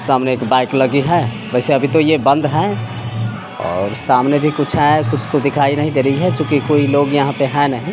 सामने एक बाइक लगी है वैसे अभी तो ये बंद है और सामने भी कुछ है कुछ तो दिखाई नहीं दे रही है चूंकि कोई लोग यहां पे है नही।